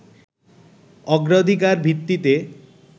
অগ্রাধিকার ভিত্তিতে